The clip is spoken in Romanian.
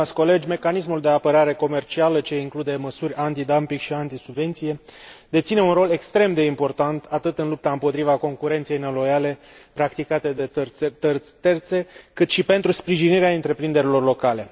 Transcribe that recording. Stimați colegi, mecanismul de apărare comercială, ce include măsuri antidumping și anti subvenție, deține un rol extrem de important atât în lupta împotriva concurenței neloiale practicate de țări terțe, cât și pentru sprijinirea întreprinderilor locale.